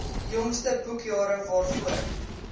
jongste boekjare waarvoor